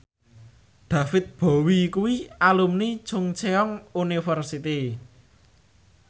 David Bowie kuwi alumni Chungceong University